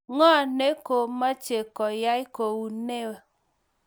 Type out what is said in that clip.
ng'o ne komeche koyai kou noe?